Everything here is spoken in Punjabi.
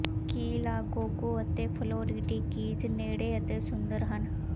ਕੀ ਲਾਗੋਗੋ ਅਤੇ ਫ਼ਲੋਰੀਡੀ ਕੀਜ਼ ਨੇੜੇ ਅਤੇ ਸੁੰਦਰ ਹਨ